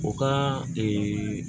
O ka